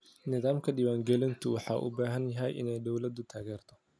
Nidaamka diwaan gelinta waxa uu u baahan yahay in dawladdu taageerto.